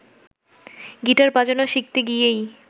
guitar বাজানো শিখতে গিয়েই